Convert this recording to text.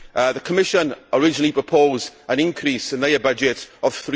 The Commission originally proposed an increase in their budget of